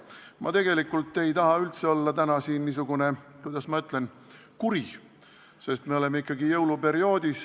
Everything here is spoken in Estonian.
Ma tegelikult ei taha üldse olla täna siin niisugune – kuidas ma ütlen – kuri, sest meil on ikkagi jõuluperiood.